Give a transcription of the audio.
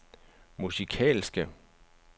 musikalske